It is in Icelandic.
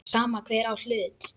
Sama hver á í hlut.